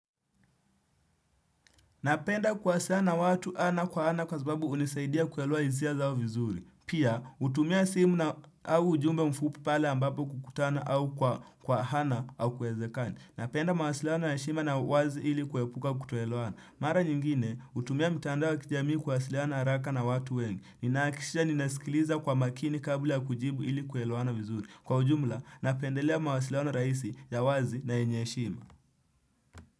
Napenda kuwasiliana na watu ana kwa ana kwa sababu hunisaidia kuelewa hisia zao vizuri. Pia, hutumia simu na au ujumbe mfupi pale ambapo kukutana au kwa ana hakuwezekani. Napenda mawasiliano ya heshima na uwazi ili kuepuka kutoelewana. Mara nyingine, hutumia mitandao ya kijamii kuwasiliana haraka na watu wengi. Ninahakikisha ninasikiliza kwa makini kabla ya kujibu ili kuelewana vizuri. Kwa ujumla, napendelea mawasiliano rahisi ya wazi na yenye heshima.